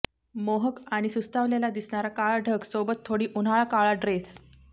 मोहक आणि सुस्तावलेला दिसणारा काळा ढग सोबत थोडी उन्हाळा काळा ड्रेस